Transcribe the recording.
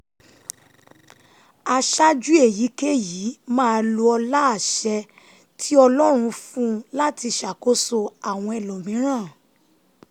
aṣáájú èyíkéyìí máa lo ọlá àṣẹ tí ọlọ́run fún un láti ṣàkóso àwọn ẹlòmíràn